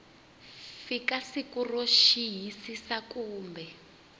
fika siku ro xiyisisa kumbe